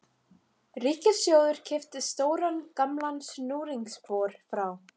Ríkissjóður keypti stóran gamlan snúningsbor frá